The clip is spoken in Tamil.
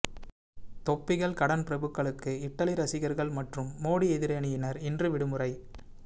தொப்பிகள் கடன் பிரபுக்களுக்கு இட்டலி ரசிகர்கள் மற்றும் மோடி எதிரணியினர் இன்று விடுமுறை